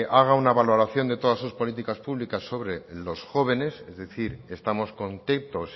haga una valoración de todas sus políticas públicas sobre los jóvenes es decir estamos contentos